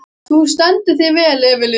Þú stendur þig vel, Evelyn!